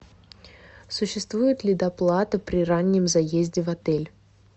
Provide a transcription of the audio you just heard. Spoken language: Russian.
существует ли доплата при раннем заезде в отель